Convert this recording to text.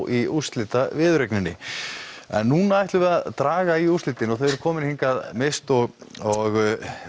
í úrslitaviðureign núna ætlum við að draga í úrslitin og þau eru komin hingað Mist og og